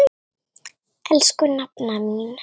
Elsku nafna mín.